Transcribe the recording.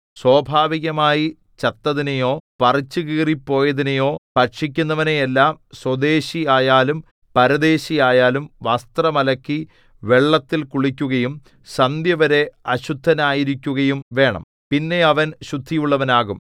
സ്വാഭാവികമായി ചത്തതിനെയോ പറിച്ചുകീറിപ്പോയതിനെയോ ഭക്ഷിക്കുന്നവനെല്ലാം സ്വദേശിയായാലും പരദേശിയായാലും വസ്ത്രം അലക്കി വെള്ളത്തിൽ കുളിക്കുകയും സന്ധ്യവരെ അശുദ്ധനായിരിക്കുകയും വേണം പിന്നെ അവൻ ശുദ്ധിയുള്ളവനാകും